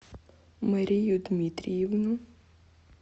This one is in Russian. марию дмитриевну